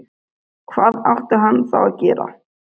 Hvað átti hann þá að gera?